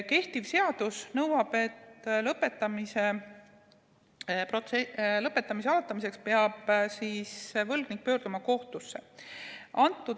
Kehtiv seadus nõuab, et lõpetamise algatamiseks peab võlgnik pöörduma kohtusse.